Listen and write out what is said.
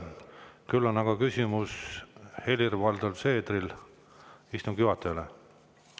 Küll on aga Helir-Valdor Seedril küsimus istungi juhatajale.